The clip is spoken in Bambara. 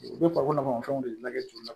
U bɛ ko nafama fɛnw de lajɛ